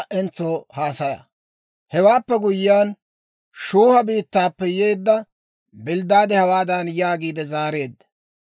Hewaappe guyyiyaan, Shuuha biittaappe yeedda Bilddaade hawaadan yaagiide zaareedda;